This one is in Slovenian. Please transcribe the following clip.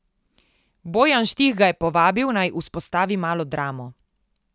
Bojan Štih ga je povabil, naj vzpostavi Malo dramo.